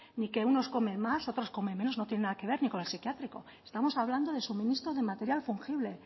ni que unos comen más otros comen menos no tiene nada que ver ni con el psiquiátrico estamos hablando de suministro de material fungible